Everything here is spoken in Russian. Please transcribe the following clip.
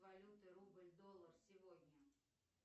валюты рубль доллар сегодня